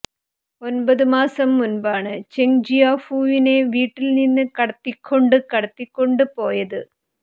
ഒൻപത് മാസം മുൻപാണ് ചെങ്ജിയാഫുവിനെ വീട്ടിൽ നിന്ന് കടത്തിക്കൊണ്ട് കടത്തികൊണ്ട് പോയത്